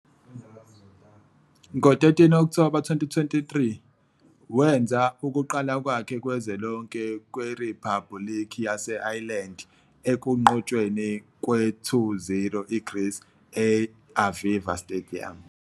Ngo-13 October 2023, wenza ukuqala kwakhe kwezwe lonke kweRiphabhuliki yase-Ireland ekunqotshweni kwe-2-0 IGreece e-I-Aviva Stadium.